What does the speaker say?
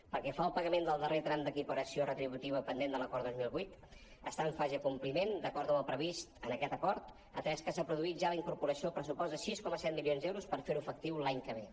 pel que fa al pagament del darrer tram d’equiparació retributiva pendent de l’acord dos mil vuit està en fase de compliment d’acord amb el previst en aquest acord atès que s’ha produït ja la incorporació al pressupost de sis coma set milions d’euros per fer·ho efectiu l’any que ve